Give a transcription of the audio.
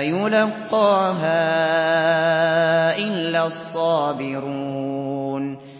يُلَقَّاهَا إِلَّا الصَّابِرُونَ